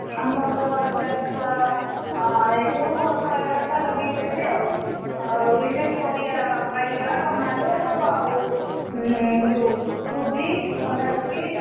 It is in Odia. ଆମର ଚାଷ ଏଇ ସବୁ ବାପା ବାପା ଲଗେଇଛନ୍ତି ଆଉ ଆଉ ଏଇଯୋଉ ପରିବା ବାଇଗଣ tomato ଆଉ ଯୋଉ କୋବି।